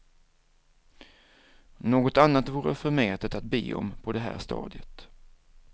Något annat vore förmätet att be om på det här stadiet.